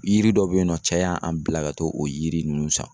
Yiri dɔ be yen nɔ cɛ y'an bila ka t'o yiri nunnu san